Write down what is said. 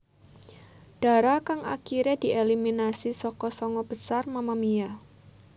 Dara kang akiré dieliminasi saka sanga besar Mamamia